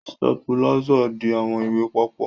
Sitapula ń di awọn iwe papọ.